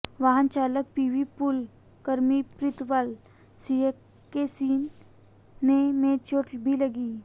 वाहन चालक पीवी पूल कर्मी प्रीतपाल सिंह के सीने में चोट भी लगी